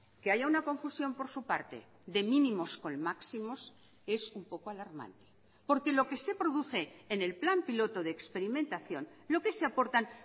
que haya una confusión por su parte de mínimos con máximos es un poco alarmante porque lo que se produce en el plan piloto de experimentación lo que se aportan